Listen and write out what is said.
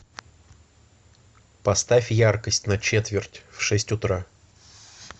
поставь яркость на четверть в шесть утра